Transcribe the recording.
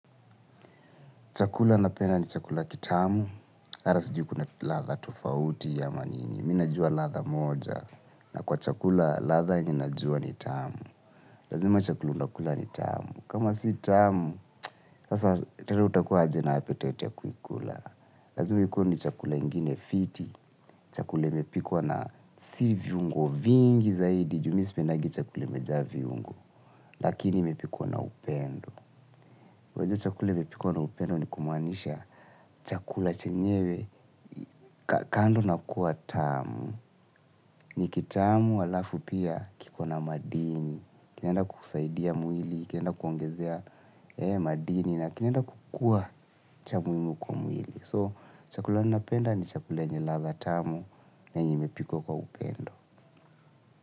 Chakula napenda ni chakula kitamu, hata sijui kuna ladhaa tofauti ama nini? Mimi najua lathaa moja, na kwa chakula lathaa ninajua ni tamu. Lazima chakula nakula ni tamu. Kama si tamu, sasa tena utakuwa aje na "apetiate" ya kuikula. Lazima ikuwe ni chakula ingine fiti. Chakul imepikwa na si viungo vingi zaidi, juu mi sipendagi chakula imejaa viungo. Lakini mepikuwa na upendo. Wajua chakula imepikwa na upendo ni kumaanisha chakula chenyewe ka kando na kuwa tamu. Ni kitamu alafu pia kiko na madini. Kinaenda kukusaidia mwili, kinaenda kuongezea madini na kinaenda kukuwa cha muhimu kwa mwili. So chakula ninapenda ni chakula yenye ladha tamu na yenye imepikwa kwa upendo.